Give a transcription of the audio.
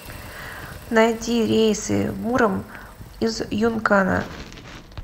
найди рейсы в муром из юнкана